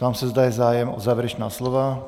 Ptám se, zda je zájem o závěrečná slova?